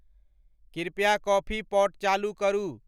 कृपया coffee pot चालू करू।